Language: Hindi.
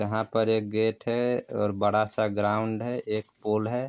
यहाँ पर एक गेट है और बड़ा सा ग्राउंड है एक पोल है।